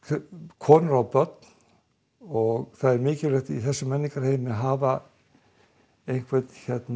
konur og börn og mikilvægt í þessum menningarheimi að hafa einhvern